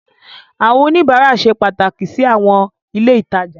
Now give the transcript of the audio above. Àwọn oníbàárà ṣe pàtàkì sí àwọn ilé ìtajà.